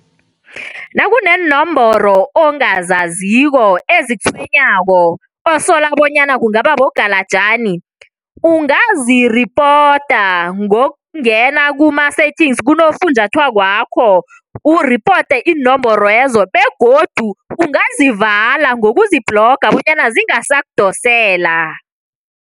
Nakuneenomboro ongazaziko ezikutshwenyako osola bonyana kungaba bogalajani ungaziripota ngokungena kuma-settings kunofunjathwako uripote inomborwezo begodu ungazivala ngokuzibhloga bonyana zingasakudosela.